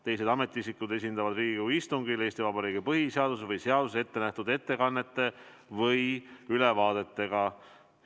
Teised ametiisikud esinevad Riigikogu istungil Eesti Vabariigi põhiseaduses või seaduses ettenähtud ettekannete või ülevaadetega.